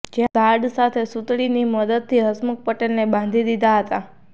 જ્યાં ઝાડ સાથે સૂતળીની મદદથી હસમુખ પટેલને બાંધી દીધા હતા